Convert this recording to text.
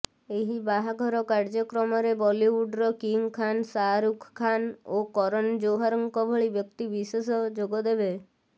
ଏହି ବାହାଘର କାର୍ଯ୍ୟକ୍ରମରେ ବଲିଉଡ୍ର କିଙ୍ଗ ଖାନ୍ ଶାହରୁଖ ଖାନ୍ ଓ କରନ ଜୋହରଙ୍କ ଭଳି ବ୍ୟକ୍ତି ବିଶେଷ ଯୋଗଦେବେ